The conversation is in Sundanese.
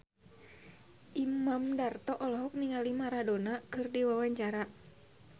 Imam Darto olohok ningali Maradona keur diwawancara